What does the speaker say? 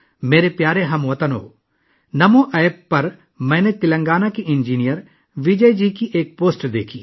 میرے پیارے ہم وطنو، میں نے نمو ایپ پر تلنگانہ کے انجینئر وجے جی کی ایک پوسٹ دیکھی